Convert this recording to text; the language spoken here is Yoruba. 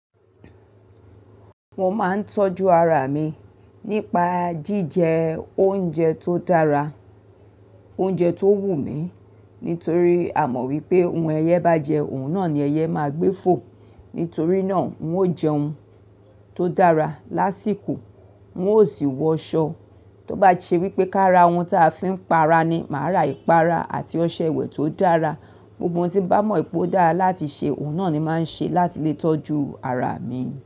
Mo máa ń tọ́jú ara mi nípa jíjẹ oúnjẹ tó dára, oúnjẹ tó wù mí nítorí a mọ̀ wípé ohun ẹyẹ bá jẹ, òun náà ni ẹyẹ máa gbé fò. Nítorí náà n ó jẹun tó dára lásìkò, n ó sì wọ aṣọ. Tó bá ṣe wípé ka ra ohun táa fi ń pa ara ni, màá ra ìpara àti ọṣẹ ìwẹ̀ tó dára. Gbogbo n tí n bá mọ̀ pé ó dára láti ṣe, òun náà ni máa ń ṣe láti lè tọ́jú ara mi.